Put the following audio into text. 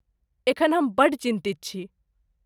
एखन हम बड्ड चिन्तित छी।